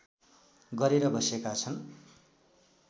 गरेर बसेका छन्